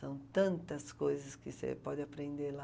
São tantas coisas que você pode aprender lá.